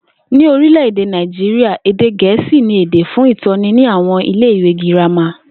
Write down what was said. Ní orílè̩-èdè Nàìjíríà, èdè Gè̩é̩sì ni èdè fún ìtó̩ni ní àwo̩n ilé ìwé girama